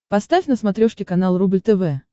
поставь на смотрешке канал рубль тв